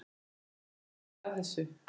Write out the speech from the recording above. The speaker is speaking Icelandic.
Hvernig fóru þeir að þessu?